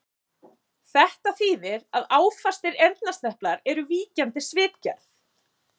Þetta þýðir að áfastir eyrnasneplar eru víkjandi svipgerð.